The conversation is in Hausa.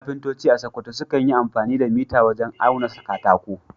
Kafintoci a Sakkwato sukan yi amfani da mita wajen auna katako.